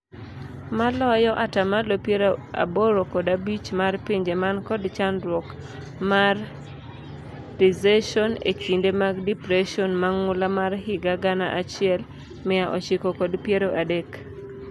Maloyo ataa malo piero aboro kod abich mar pinje man kod chandruok mar recession e kinde mar depression mang'ula mar higa gana achiel, mia ochiko kod piero adek.